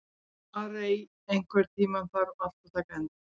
Arey, einhvern tímann þarf allt að taka enda.